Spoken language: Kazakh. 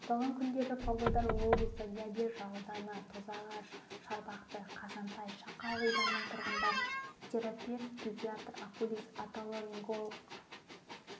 аталған күндері павлодар облысы лебяжі ауданы тозағаш шарбақты қазантай шақа ауылдарының тұрғындарын терапевт педиатр окулист отоларинголог